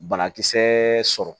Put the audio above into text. Banakisɛ sɔrɔ